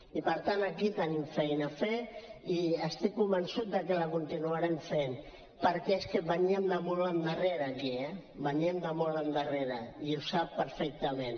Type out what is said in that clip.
i per tant aquí tenim feina a fer i estic convençut de que la continuarem fent perquè és que veníem de mot endarrere aquí eh veníem de molt endarrere aquí i ho sap perfectament